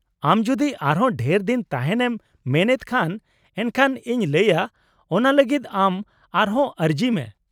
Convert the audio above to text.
-ᱟᱢ ᱡᱩᱫᱤ ᱟᱨ ᱦᱚᱸ ᱰᱷᱮᱨ ᱫᱤᱱ ᱛᱟᱦᱮᱸᱱ ᱮᱢ ᱢᱮᱱ ᱮᱫ ᱠᱷᱟᱱ ᱮᱱᱠᱷᱟᱱ ᱤᱧ ᱞᱟᱹᱭᱼᱟ ᱚᱱᱟ ᱞᱟᱜᱤᱫ ᱟᱢ ᱟᱨ ᱦᱚᱸ ᱟᱹᱨᱡᱤ ᱢᱮ ᱾